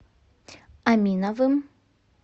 аминовым